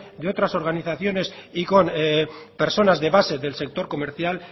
de otras organizaciones y con personas de base del sector comercial